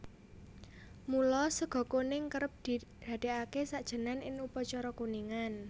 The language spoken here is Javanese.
Mula sega kuning kerep didadékake sajènan in upacara kuningan